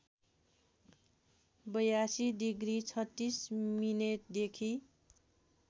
८२ degree ३६ मिनेटदेखि